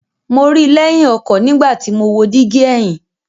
Mo ri i lẹhin ọkọ nigbati mo wo digi ẹhin